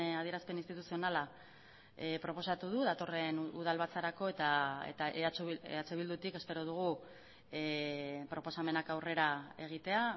adierazpen instituzionala proposatu du datorren udal batzarako eta eh bildutik espero dugu proposamenak aurrera egitea